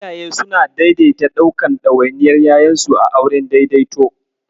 Iyaye suna daidaita ɗaukan ɗawainiyar ƴaƴansu a auren daidaito.